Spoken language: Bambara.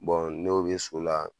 n'o bɛ so la.